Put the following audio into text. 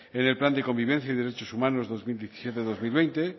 en el plan de convivencia y derechos humanos dos mil diecisiete dos mil veinte